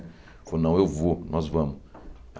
Ele falou, não, eu vou, nós vamos.